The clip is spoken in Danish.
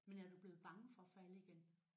Men er du blevet bange for at falde igen?